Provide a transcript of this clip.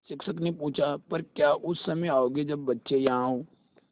शिक्षक ने पूछा पर क्या उस समय आओगे जब बच्चे यहाँ हों